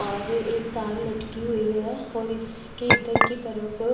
और एक तार लटकी हुई है और इसकी इधर की तरफ--